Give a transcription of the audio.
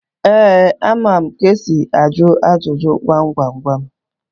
Ee, amara m ka esi ajụ ajụjụ gwam gwam gwam.